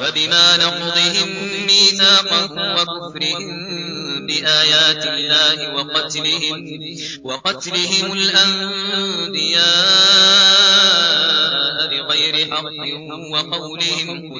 فَبِمَا نَقْضِهِم مِّيثَاقَهُمْ وَكُفْرِهِم بِآيَاتِ اللَّهِ وَقَتْلِهِمُ الْأَنبِيَاءَ بِغَيْرِ حَقٍّ وَقَوْلِهِمْ